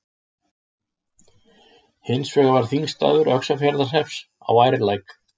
Hins vegar var þingstaður Öxarfjarðarhrepps á Ærlæk.